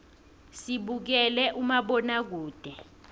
sibukela umabonakude